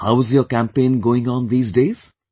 How is your campaign going on these days